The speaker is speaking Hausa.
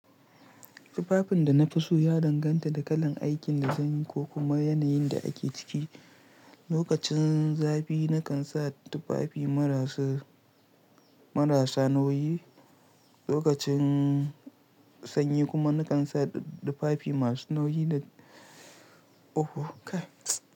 Tufafin da na fi so ya danganta da kalan aikin da zan yi ko kuma yanayin da ake ciki. Lokacin zafi na kan sa tufafi marasa nauyi, lokacin sanyi kuma na kan sa tufafi masu nauyi da Oho kai!